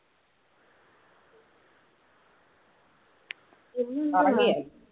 ഉറങ്ങിയോ?